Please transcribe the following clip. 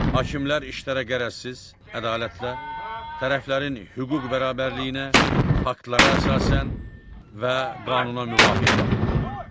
Hakimlər işlərə qərəzsiz, ədalətlə, tərəflərin hüquq bərabərliyinə, faktlara əsasən və qanuna müvafiq baxırlar.